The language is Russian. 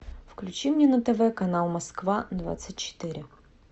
включи мне на тв канал москва двадцать четыре